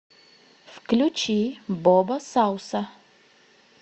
включи бобо сауса